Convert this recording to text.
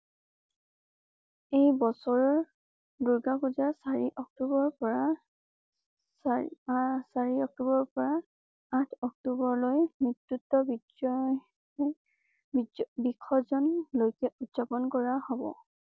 এই বছৰৰ দুৰ্গা পূজা চাৰি অক্টোবৰৰ পৰা ছয় আচাৰিঅক্টোবৰৰ পৰা আঠ অক্টোবৰলৈ নেতৃত্ব বিজয়বিজয়বিসৰ্জন লৈকে উদযাপন কৰা হব